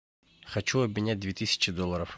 хочу обменять две тысячи долларов